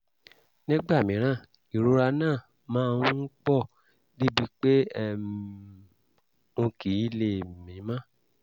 nígbà mìíràn ìrora náà máa ń pọ̀ débi pé um n kì í lè mí mọ́